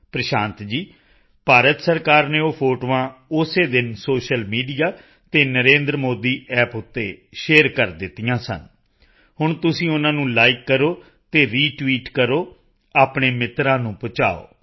ਪ੍ਰਸ਼ਾਂਤ ਜੀ ਭਾਰਤ ਸਰਕਾਰ ਨੇ ਉਹ ਫੋਟੋਆਂ ਉਸੇ ਦਿਨ ਸੋਸ਼ੀਅਲ ਮੀਡੀਆ ਅਤੇ NarendraModiApp ਤੇ ਸ਼ੇਅਰ ਕਰ ਦਿੱਤੀਆਂ ਸਨ ਹੁਣ ਤੁਸੀਂ ਉਨ੍ਹਾਂ ਨੂੰ ਲਾਈਕ ਕਰੋ ਅਤੇ ਰਿਟਵੀਟ ਕਰੋ ਆਪਣੇ ਮਿੱਤਰਾਂ ਨੂੰ ਪਹੁੰਚਾਓ